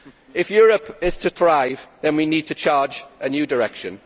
If Europe is to thrive then we need to take a new direction.